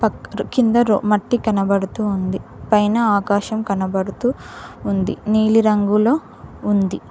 కింద మట్టి కనబడుతూ ఉంది పైన ఆకాశం కనబడుతూ ఉంది నీలిరంగులో ఉంది.